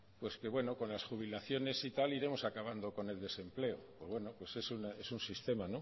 que bueno con las jubilaciones y tal iremos acabando con el desempleo pues bueno es un sistema